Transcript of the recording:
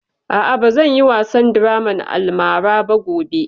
A'a, ba zan yi wasan draman almara ba gobe